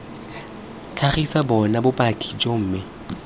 tlhagisa bona bopaki joo mme